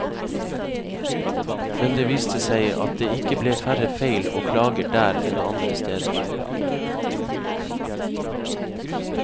Men det viste seg at det ikke ble færre feil og klager der enn andre steder.